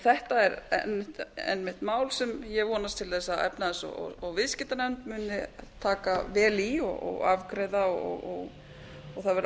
þetta er einmitt mál sem ég vonast til þess að efnahags og viðskiptanefnd muni taka vel í og afgreiða og það verður ánægjulegt